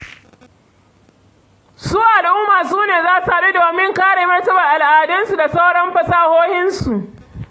Su al'umma su ne za su haɗu domin kare martabar al'adunsu da sauran fasahohinsu.